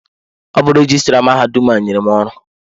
Ọ bụ rejistra mahadum a nyere m ọrụ a.